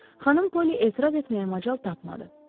Xanım Poli etiraz etməyə macal tapmadı.